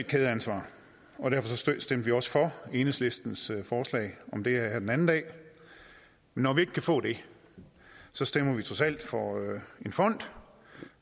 kædeansvar og derfor stemte vi også for enhedslistens forslag om det her den anden dag men når vi ikke kan få det stemmer vi trods alt for en fond